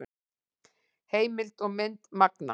Heimild og mynd Manga.